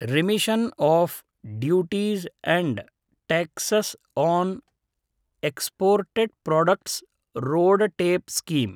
remission of duties and taxes on exported products RoDTEP scheme